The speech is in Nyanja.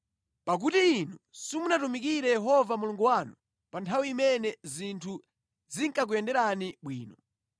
Pakuti inu simunatumikire Yehova Mulungu wanu pa nthawi imene zinthu zinkakuyenderani bwino,